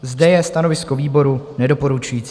Zde je stanovisko výboru nedoporučující.